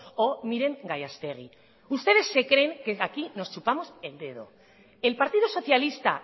o miren gallastegui ustedes se creen que aquí nos chupamos el dedo el partido socialista